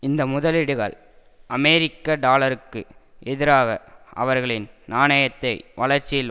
இந்த முதலீடுகள் அமெரிக்க டாலருக்கு எதிராக அவர்களின் நாணயத்தை வளர்ச்சியில்